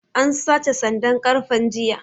An sace sandan ƙarfen jiya